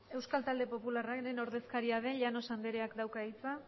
euskal talde popularraren ordezkaria den llanos andreak dauka hitza